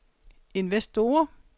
investorer